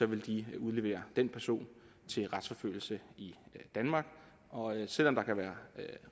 ville udlevere den person til retsforfølgelse i danmark og selv om der kan være